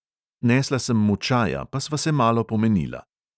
Nesla sem mu čaja, pa sva se malo pomenila.